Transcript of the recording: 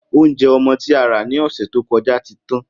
Oúnje̩ o̩mo̩ tí a rà ní ò̩sè̩ tó ko̩já ti tán